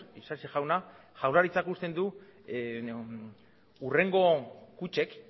isasi jauna jaurlaritzak uste du hurrengo kutxek